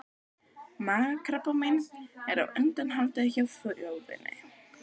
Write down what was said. Magakrabbamein er á undanhaldi hjá þjóðinni.